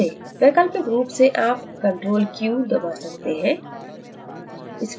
वैकल्पिक रूप से आप ctrl q दबा सकते हैं